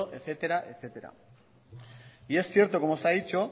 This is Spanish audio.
etcétera etcétera y es cierto como se ha dicho